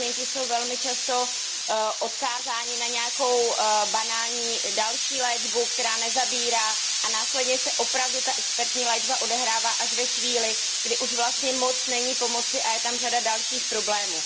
Pacienti jsou velmi často odkázáni na nějakou další banální léčbu, která nezabírá, a následně se opravdu ta expertní léčba odehrává až ve chvíli, kdy už vlastně není moc pomoci a je tam řada dalších problémů.